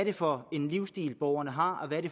er for en livsstil borgerne har